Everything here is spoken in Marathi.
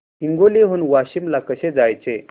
हिंगोली हून वाशीम ला कसे जायचे